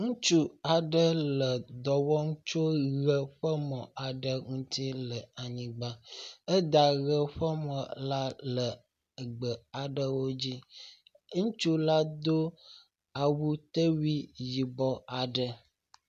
ŋutsu aɖe le dɔwɔm tso ɣe ƒe mɔ aɖe ŋuti le anyigbã éda ɣe ƒe mɔ la lè gbe alewodzi, ŋutsu la dó awutewui yibɔ aɖe